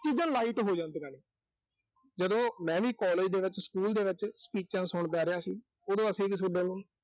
ਚੀਜ਼ਾਂ light ਹੋ ਜਾਂਦੀਆਂ ਨੇ, ਜਦੋਂ ਮੈਂ ਵੀ college ਦੇ ਵਿੱਚ, school ਦੇ ਵਿੱਚ speeches ਸੁਣਦਾ ਰਿਹਾ ਸੀ। ਉਦੋਂ ਅਸੀਂ ਵੀ ਥੋਡੇ ਵਾਂਗੂੰ